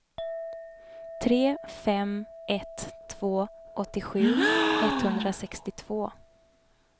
tre fem ett två åttiosju etthundrasextiotvå